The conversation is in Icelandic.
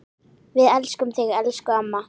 Við elskum þig, elsku amma.